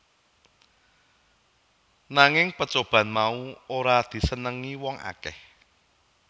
Nagging pecobaan mau ora disenengi wong akeh